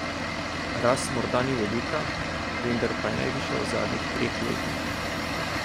Rast morda ni velika, vendar pa je najvišja v zadnjih treh letih.